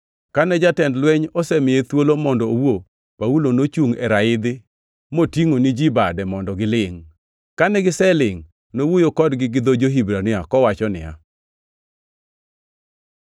Kane jatend lweny osemiye thuolo mondo owuo, Paulo nochungʼ e raidhi, motingʼo ni ji bade mondo gilingʼ. Kane giselingʼ nowuoyo kodgi gi dho jo-Hibrania kowacho niya: